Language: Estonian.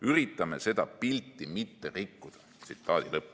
Üritame seda pilti mitte rikkuda.